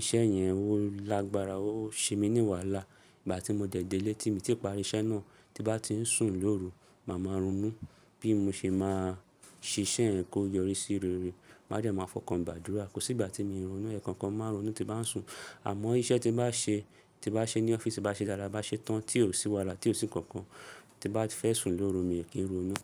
iṣẹ́ yẹn ó lágbára ó ṣe mí ní wàhálà ígbà tí mo dẹ̀lẹ̀ tí mo ti parí iṣẹ́ náà tí bá ti ń sùn lóru máa máa ronú bí mo ṣe máa ṣe iṣẹ́ yẹn kó yọrí sí rere. Màá de màá fọ́nkan gbadura, kò sí ìgbà tí mo ì ronú ẹ̀ kankan máa ronú tí bá ń sùn. Àmọ́ iṣẹ́ tí bá ṣe, tí bá ṣe ní ọ́fíìsì ti bá ṣe dáadáa bá ṣe tán tí ò sí wàhálà tí ò sí n kankan tí bá fẹ́ sùn lóru mi ò kí n ronú.